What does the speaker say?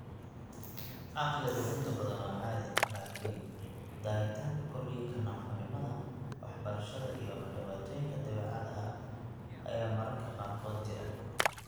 Caqligu inta badan waa caadi, laakiin daahitaanka korriinka, naafonimada waxbarashada, iyo ama dhibaatooyinka dabeecadda ayaa mararka qaarkood jira.